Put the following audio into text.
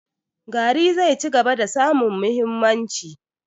Gari zai cigaba da samun mahimmanci.